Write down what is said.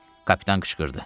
Kapitan qışqırdı.